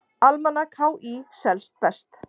Almanak HÍ selst best